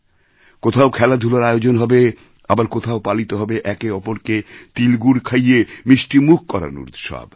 কোথাও খেলাধূলার আয়োজন হবে আবার কোথাও পালিত হবে একে অপরকে তিলগুড় খাইয়ে মিষ্টিমুখ করানোর উৎসব